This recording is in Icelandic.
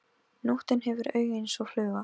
Nóttin hefur augu eins og fluga.